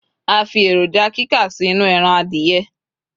a fi eroja kika sí inú eran adìye